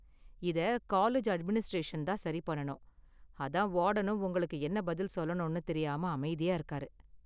இத college administration தான் சரி பண்ணனும், அதான் வார்டனும் உங்களுக்கு என்ன பதில் சொல்லனு தெரியாம அமைதியா இருக்காரு.